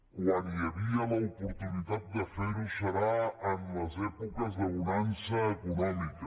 quan hi hauria l’oportunitat de fer ho seria en les èpoques de bonança econòmica